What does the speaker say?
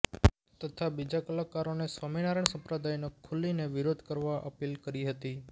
તથા બીજા કલાકારોને સ્વામીનરાયણ સંપ્રદાયનો ખુલીને વિરોધ કરવા અપીલ કરી હતી